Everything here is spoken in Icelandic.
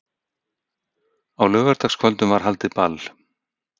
Á laugardagskvöldum var haldið ball í